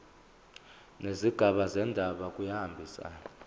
nezigaba zendaba kuyahambisana